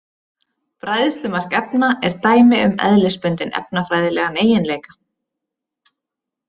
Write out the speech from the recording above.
Bræðslumark efna er dæmi um eðlisbundinn efnafræðilegan eiginleika.